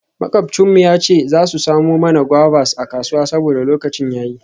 Makwabcin mu ya ce za su samo mana guavas a kasuwa saboda lokacin ya yi.